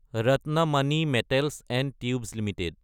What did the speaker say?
Ratnamani metals & tubes Ltd